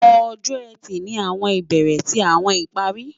Ọjọ́-Ẹtì ni awọn ibere ti awọn ìparí